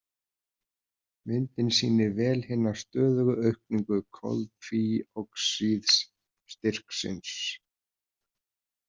Myndin sýnir vel hina stöðugu aukningu koltvíoxíðsstyrksins.